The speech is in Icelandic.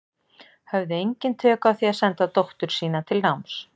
Höfðu engin tök á því að senda dóttur sína til náms.